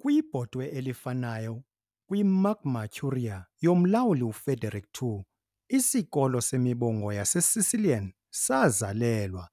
Kwibhotwe elifanayo, kwiMagna Curia yoMlawuli uFrederick II, isikolo semibongo yaseSicilian sazalelwa,